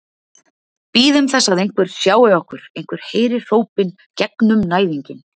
Bíðum þess að einhver sjái okkur, einhver heyri hrópin gegnum næðinginn.